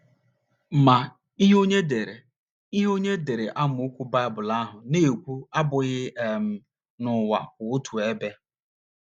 Ma, ihe onye dere ihe onye dere amaokwu Baịbụl ahụ na - ekwu abụghị um na ụwa kwụ otu ebe.